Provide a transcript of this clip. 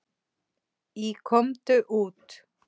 Í Komdu út!